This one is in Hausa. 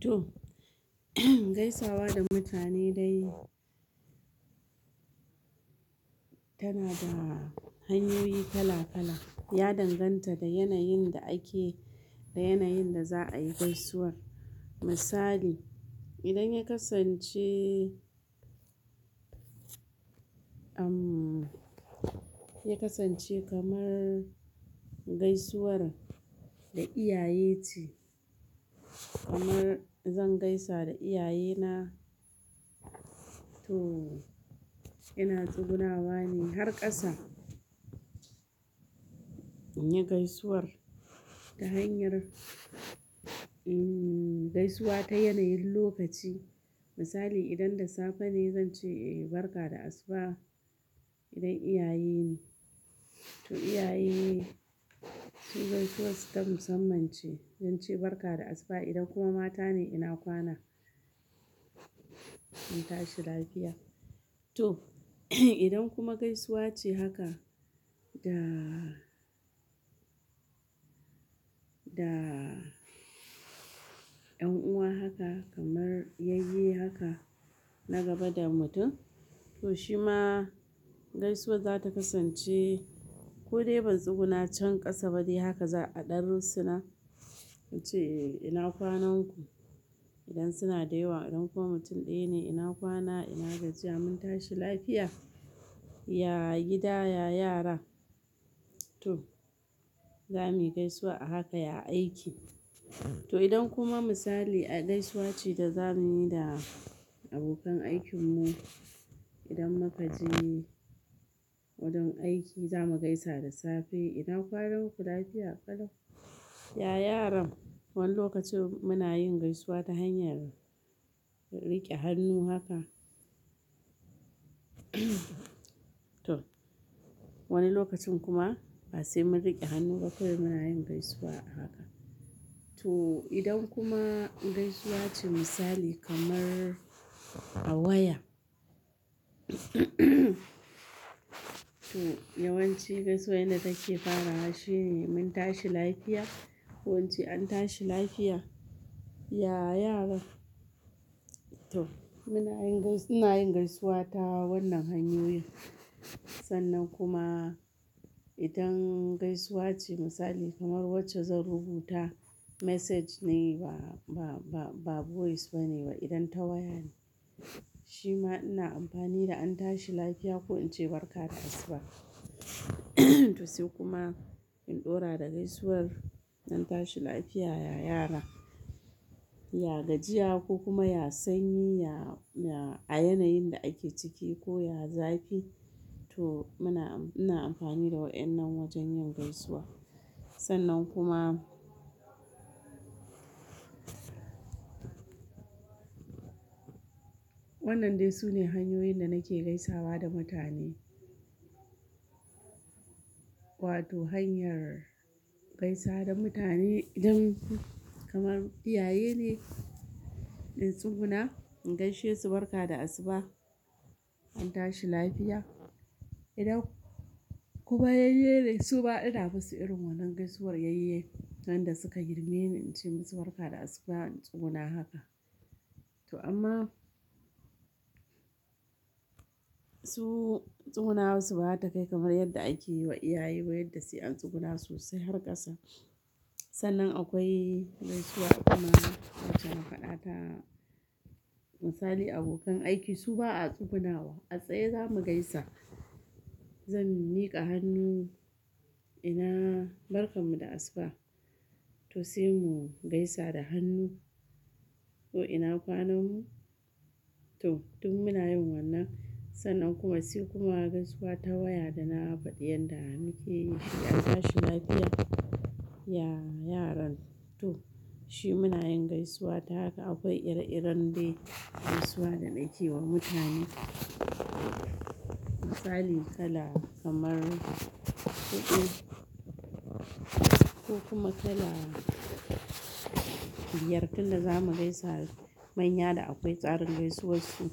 To, gaisawa da mutane dai tana da hanyoyi kala-kala, ya danganta da yanayin da ake da yanayin da za'a yi gaisuwar. Misali, idan ya kasance, uhm, ya kasance kamar gaisuwar da iyaye ce, kamar zan gaisa da iyaye na, to ina tsugunawa ne har kasa. In yi gaisuwar, ta hanyar gaisuwa ta yanayin lokaci. Misali idan da safe ne zan ce, "Eh barka da asuba", idan iyaye ne. To iyaye, su gaisuwar su ta musamman ce. Zan ce barka da asuba idan kuma mata ne ina kwana? Kun tashi lafiya. To, idan kuma gaisuwa ce haka da, da yan uwa haka, kamar yayye haka, na gaba da mutum, to shi ma gaisuwar za ta kasance ko dai ban tsuguna can kasa bade haka za'a ɗarrinsu na. In ce, "Eh ina kwanan ku?" Idan suna da yawa, idan kuma mutum ɗaya ne ina kwana? Ina gajiya mun tashi lafiya. Ya gida, ya yara. To, za muyi gaisuwa a haka ya aiki. To, idan kuma misali gaisuwa ce da za muyi da abokan aikin mu, idan muka je wurin aiki za mu gaisa da safe. "ina kwanan ku", lafiya kala. Ya yaran, wani lokaci muna yin gaisuwa ta hanyar rike hannu haka. To, wani lokacin kuma, ba sai mun riƙe hannu ba kawai muna yin gaisuwa a haka. To, idan kuma gaisuwa ce misali kamar a waya, to, yawanci gaisuwar yanda nake fara shi ne "mun tashi lafiya" ko ince "an tashi lafiya". Ya yaran. To muna yin gais, muna yin gaisuwa ta wannan hanyoyin. Sannan kuma idan gaisuwa ce misali kamar wacce zan rubuta message ne ba, ba, ba voice ba ne idan ta waya ne. Shi ma ina amfani da an tashi lafiya ko in ce barka da asuba. To sai kuma in ɗora da gaisuwar "an tashi lafiya ya yara", ya gajiya ko kuma ya sanyi ya, ya a yanayin da ake ciki ko ya zafi. To muna am-- ina amfani da waɗannan wajen yin gaisuwa. Sannan kuma wannan dai su ne hanyoyin da nake gaisawa da mutane. Wato hanyar gaisa da mutane idan kamar iyaye ne in tsuguna in gaishe su barka da asuba, an tashi lafiya. Idan kuma yayye ne su ba ina basu irin wannan gaisuwar yayye. Wanda suka girme ni in ce musu "barka da asuba", in tsuguna haka. To amma su tsugunawan su ba haka ta kai kamar yadda ake yi wa iyaye, wa yadda su yi an tsuguna sosai har ƙasa. Sannan akwai gaisuwa kuma wacce haƙaɗata, misali abokan aiki su ba a tsugunawa a tsaye za mu gaisa. Zan miƙa hannu ina barkan mu da asuba. To sai mu gaisa da hannu ko ina kwanan mu. To, duk muna yin wannan. Sannan kuma sai kuma gaisuwa ta waya da na faɗi yanda muke yi shi an tashi lafiya. Ya yaran. To, shi mu na yin gaisuwa ta haka, akwai ire-iren dai gaisuwa da na ke yi wa mutane. Misali kala kamar, kuɗi ko kuma kala biyar tun da za mu gaisa manya da akwai tsarin gaisuwar su.